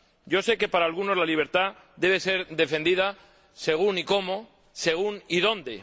Yo sé que para algunos la libertad debe ser defendida según y cómo, según y dónde.